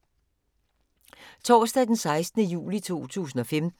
Torsdag d. 16. juli 2015